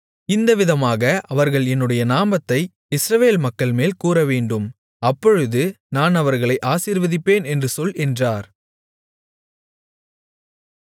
இந்த விதமாக அவர்கள் என்னுடைய நாமத்தை இஸ்ரவேல் மக்கள்மேல் கூறவேண்டும் அப்பொழுது நான் அவர்களை ஆசீர்வதிப்பேன் என்று சொல் என்றார்